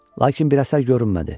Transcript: Lakin bir əsər görünmədi.